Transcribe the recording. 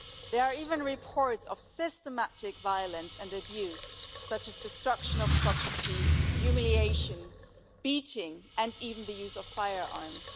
There are even reports of systematic violence and abuse, such as destruction of property, humiliation, beatings and even the use of firearms.